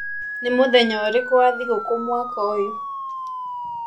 Nĩ mũthenya ũrĩkũ wa thigũkũ mwaka ũyũ?